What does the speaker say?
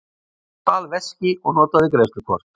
Stal veski og notaði greiðslukort